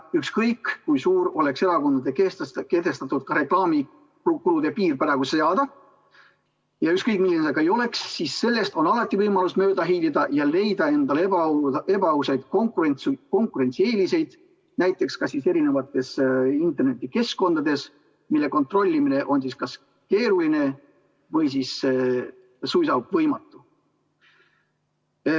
Ükskõik kui suur oleks erakondadele kehtestatud reklaamikulude piir ja ükskõik milline see ka ei oleks, siis sellest on alati võimalus mööda hiilida ja leida endale ebaausaid konkurentsieeliseid, näiteks eri internetikeskkondades, mille kontrollimine on keeruline või suisa võimatu.